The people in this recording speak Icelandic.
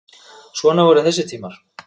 Svona voru þessi tímar.